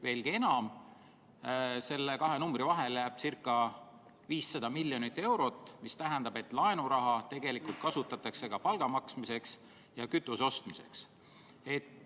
Veelgi enam, nende kahe numbri vahele jääb ca 500 miljonit eurot, mis tähendab, et laenuraha kasutatakse tegelikult ka palga maksmiseks ja kütuse ostmiseks.